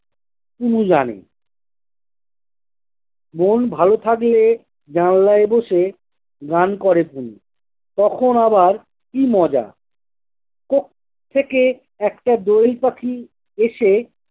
কুনিমানে। মন ভালো থাকলে জানালায় বসে গান করে কুনি। তখন আবার কি মজা। কোত্থেকে একটা দোয়েল পাখি এসে